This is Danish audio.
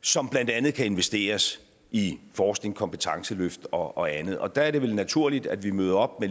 som blandt andet kan investeres i forskning kompetenceløft og andet og der er det vel naturligt at vi møder op med